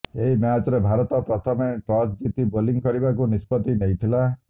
ଏହି ମ୍ୟାଚରେ ଭାରତ ପ୍ରଥମେ ଟସ୍ ଜିତି ବୋଲିଂ କରିବାକୁ ନିଷ୍ପତ୍ତି ନେଇଥିଲା